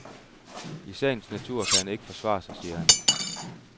I sagens natur kan han ikke forsvare sig, siger han.